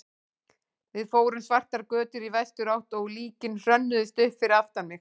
Við fórum svartar götur í vesturátt og líkin hrönnuðust upp fyrir aftan mig.